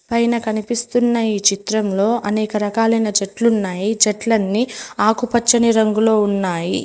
పైన కనిపిస్తున్న ఈ చిత్రంలో అనేక రకాలైన చెట్లున్నాయి చెట్లన్నీ ఆకుపచ్చని రంగులో ఉన్నాయి.